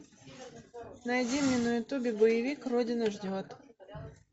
найди мне на ютубе боевик родина ждет